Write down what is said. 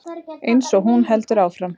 Eins og hún heldur fram.